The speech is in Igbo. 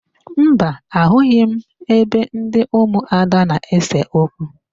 Mba, ahụghị m ebe ndị ụmụada na-ese okwu.